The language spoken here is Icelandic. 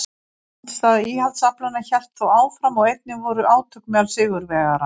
Andstaða íhaldsaflanna hélt þó áfram og einnig voru átök meðal sigurvegaranna.